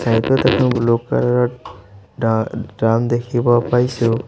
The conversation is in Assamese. ব্লু কালাৰ ত ডা ড্ৰাম দেখিব পাইছোঁ।